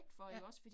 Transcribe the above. Ja